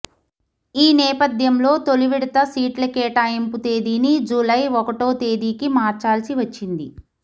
ఈ నేపథ్యంలో తొలి విడత సీట్ల కేటాయింపు తేదీని జూలై ఒకటో తేదీకి మార్చాల్సి వచ్చింది